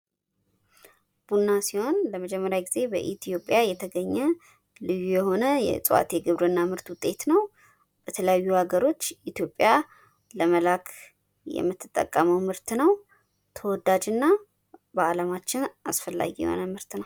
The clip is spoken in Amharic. ቡና ሲሆን ለመጀመርያ ጊዜ በኢትዮጵያ የተገኘ ልዩ የሆነ የእፅዋት የግብርና ምርት ውጤት ነው። በተለያዩ ሀገሮች ኢትዮጵያ ለመላክ የምትጠቀመው ምርት ነው። ተወዳጅና በአለማችን አስፈላጊ የሆነ ምርት ነው።